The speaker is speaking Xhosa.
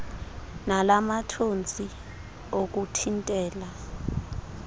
nala mathontsi okuthintela